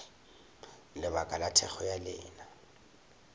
lebaka la thekgo ya lena